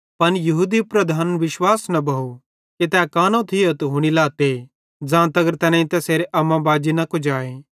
पन यहूदी लीडरन विश्वास न भोव कि तै कानो थियो ते हुनी लाते ज़ां तगर तैनेईं तैसेरे अम्माबाजी न कुजाए